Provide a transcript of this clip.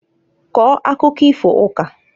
Kọọ akụkọ ifo ukaǃ